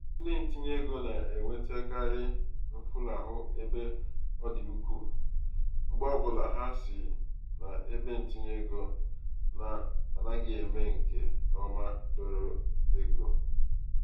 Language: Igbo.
ndi um ntinyeego na-enwetakarị mfulahụ ebe ọ dị ukwu mgbe ọbụla ha si n'ebentinyeego na-anaghị eme nke um ọma dọrọ ego.